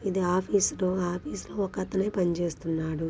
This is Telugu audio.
ఇది ఆఫీస్ రో. ఆఫీస్ లో ఒక అతనే పని చేస్తున్నాడు.